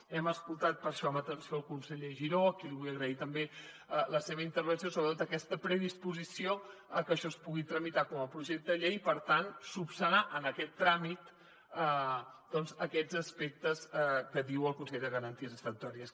hem escoltat per això amb atenció el conseller giró a qui li vull agrair també la seva intervenció sobretot aquesta predisposició a que això es pugui tramitar com a projecte de llei i per tant esmenar en aquest tràmit doncs aquests aspectes que diu el consell de garanties estatutàries